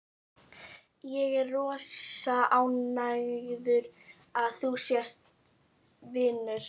Ég er rosa ánægður að þú sért vinur minn.